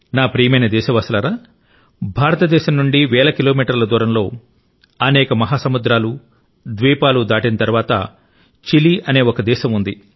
నా ప్రియమైన దేశవాసులారా భారతదేశం నుండి వేల కిలోమీటర్ల దూరంలో అనేక మహాసముద్రాలు ద్వీపాలు దాటిన తర్వాత చిలీ అనే ఒక దేశం ఉంది